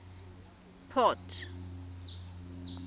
port